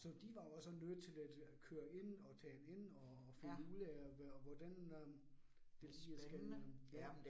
Så de var jo også nødt til at køre ind og tale ind og finde ud af, hvordan øh det lige skal øh ja